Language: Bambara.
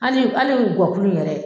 Ali ali gɔ kulu yɛɛrɛ